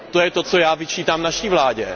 To je to, co já vyčítám naší vládě.